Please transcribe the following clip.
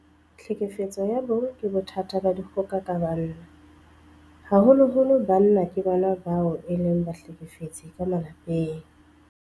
Tlhekefetso ya bong ke bothata ba dikgoka ka banna. Haholoholo banna ke bona bao e leng bahlekefetsi ka malapeng.